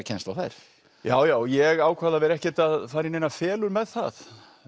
kennsl á þær já já ég ákvað að vera ekkert að fara í neinar felur með það